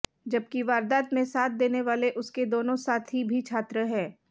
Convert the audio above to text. जबकि वारदात में साथ देने वाले उसके दोनों साथी भी छात्र हैं